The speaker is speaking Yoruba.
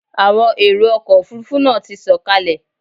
Àwọn èrò ọkọ̀ Òfurufú náà ti sọ̀kalẹ̀.